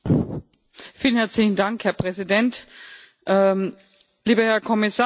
Herr Präsident, lieber Herr Kommissar, liebe Kolleginnen und Kollegen!